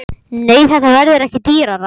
Nei, þetta verður ekki dýrara.